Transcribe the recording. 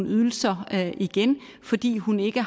ydelser igen fordi hun ikke